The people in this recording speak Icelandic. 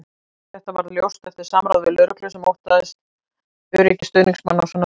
Þetta varð ljóst eftir samráð við lögreglu sem óttast öryggi stuðningsmanna á svona leikjum.